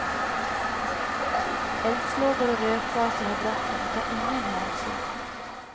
Eldslågor och rökgaser har bråttom och tar ingen hänsyn.